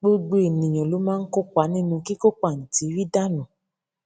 gbogbo ènìyàn ló máa ń kópa nínú kíkó pàǹtírí dànù